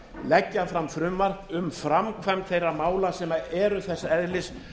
leggja fram frumvarp um framkvæmd þeirra mála sem eru þess eðlis